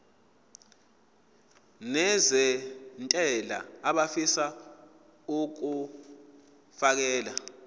nezentela abafisa uukfakela